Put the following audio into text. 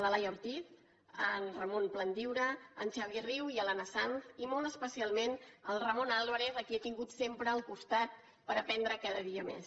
la laia ortiz en ramon plandiura en xavier riu i l’anna sanz i molt especialment al ramon álvarez a qui he tingut sempre al costat per aprendre cada dia més